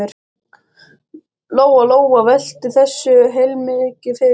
Lóa-Lóa velti þessu heilmikið fyrir sér.